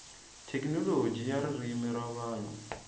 thekinoloji ya ririmi ra vanhu